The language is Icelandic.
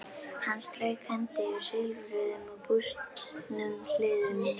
Hann strauk hendi eftir silfruðum og bústnum hliðum þeirra.